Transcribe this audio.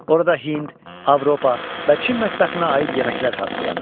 Orada Hind, Avropa və Çin mətbəxinə aid yeməklər hazırlanır.